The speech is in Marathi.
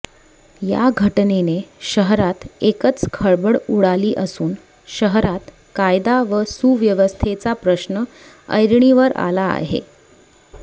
या घटनेने शहरात एकच खळबळ उडाली असून शहरात कायदा व सुव्यवस्थेचा प्रश्न ऐरणीवर आला आहे